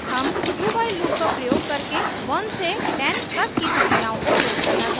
हम dowhile loop का प्रयोग करके 1 से 10 तक की संख्याओं को print करना चाहते हैं